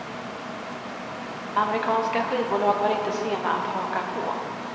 Amerikanska skivbolag var inte sena att haka på.